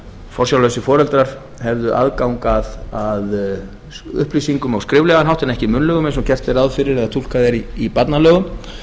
forsjárlausir foreldrar hefðu aðgang að upplýsingum á skriflegan hátt en ekki munnlegum eins og gert er ráð fyrir eða túlkað er í barnalögum